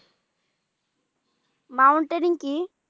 mountering কি?